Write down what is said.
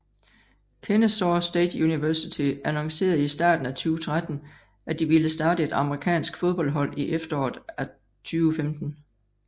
Kennesaw State University annoncerede i starten af 2013 at de ville starte et amerikanske fodboldhold i efteråret af 2015